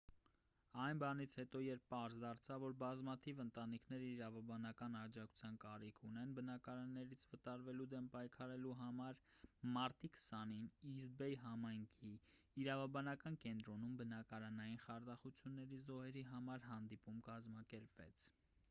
այն բանից հետո երբ պարզ դարձավ որ բազմաթիվ ընտանիքներ իրավաբանական աջակցության կարիք ունեն բնակարաններից վտարվելու դեմ պայքարելու համար մարտի 20-ին իսթ բեյ համայնքի իրավաբանական կենտրոնում բնակարանային խարդախությունների զոհերի համար հանդիպում կազմակերպվեց